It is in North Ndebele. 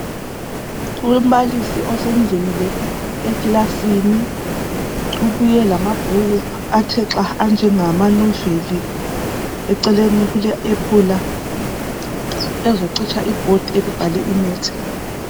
Umbalisi osengenile ekilasini ubuye lamabhuku athe xa anjengama noveli eceleni kule ephula ezocitsha ibhodi elibhalwe maths.